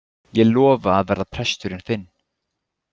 Ég lofa að verða presturinn þinn.